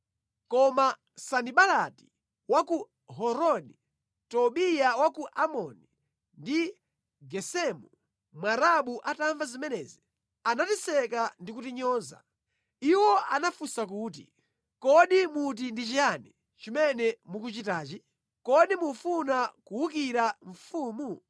Koma Sanibalati wa ku Horoni, Tobiya wa ku Amoni ndi Gesemu Mwarabu atamva zimenezi, anatiseka ndi kutinyoza. Iwo anafunsa kuti, “Kodi muti ndi chiyani chimene mukuchitachi? Kodi mufuna kuwukira mfumu?”